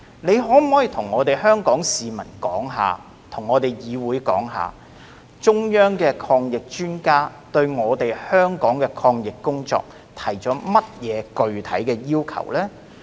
你可否向香港市民和議會說明，中央的抗疫專家對香港的抗疫工作提出了甚麼具體要求？